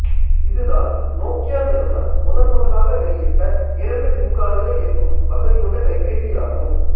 இது தான் நோக்கியா நிறுவனம் முதன் முதலாக வெளியிட்ட இரண்டு சிம் கார்டுகளை இயக்கும் வசதி கொண்ட கைபேசி ஆகும்